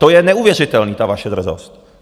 To je neuvěřitelné, ta vaše drzost!